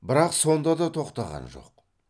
бірақ сонда да тоқтаған жоқ